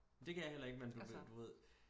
Det kan jeg heller ikke men du ved du ved